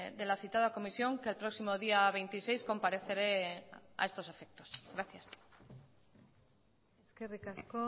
de la citada comisión que el próximo día veintiséis compareceré a estos efectos gracias eskerrik asko